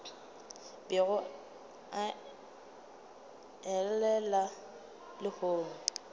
bego a e llela lehono